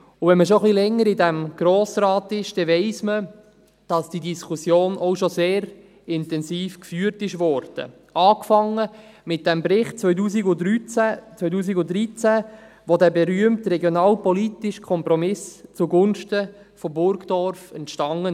Wenn man schon etwas länger in diesem Grossen Rat ist, weiss man, dass die Diskussion auch schon sehr intensiv geführt wurde, angefangen mit dem Bericht 2013, als der berühmte regionalpolitische Kompromiss zugunsten von Burgdorf entstand.